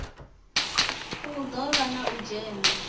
do vha na u dzhena